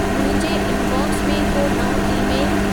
मुंहिंजे इनबॉक्स में को नओं ई-मेलु